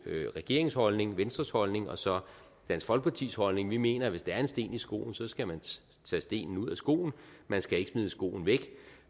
regeringens holdning venstres holdning og så dansk folkepartis holdning vi mener at hvis der er en sten i skoen skal man tage stenen ud af skoen man skal ikke smide skoen væk